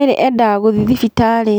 Mary endaga guthiĩ thibitarĩ